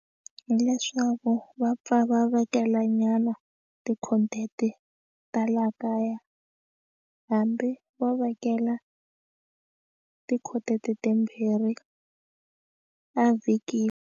Hileswaku va pfa va vekela nyana ti-content ta laha kaya hambi vo vekela tikhodi timbirhi a vhikini.